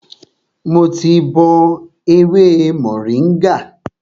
Mo ti bọ ewé mòríngà